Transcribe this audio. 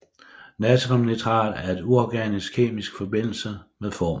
Natriumnitrat er en uorganisk kemisk forbindelse med formlen